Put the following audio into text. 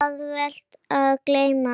Það er auðvelt að gleyma.